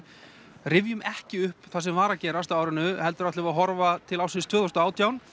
rifjum ekki upp það sem var að gerast ár árinu heldur ætlum við að horfa til ársins tvö þúsund og átján